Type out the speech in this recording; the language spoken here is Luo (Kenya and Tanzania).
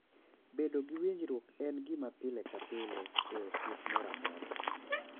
Bedo gi winjruok en gima pile ka pile e osiep moro amora,